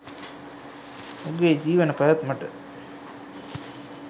උගේ ජීවන පැවැත්මට